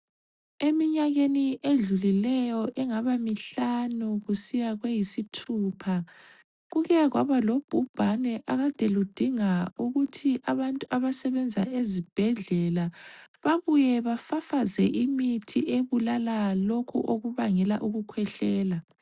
Eminyakeni edlulileyo engaba mihlanu kusiya kweyisithupha kuke kwabalobhubhane akade ludinga ukuthi abantu abasebenza ezibhedlela babuye bafafaze imithi ebulala lokhu okubangela ukukhwehlela